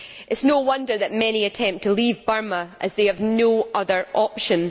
It is no wonder that many attempt to leave Burma as they have no other option.